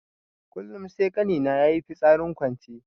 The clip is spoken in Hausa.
Kullun sai ƙani na yayi fitsarin kwance.